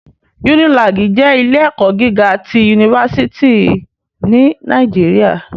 Unilàgí jè ilé èkò gigá ti únifásìtí ni Nàijiriâ